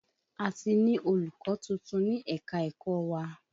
A ti ní olùkọ́ tuntun ní ẹ̀ka-ẹ̀kọ wa.